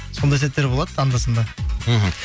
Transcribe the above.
сондай сәттер болады анда санда мхм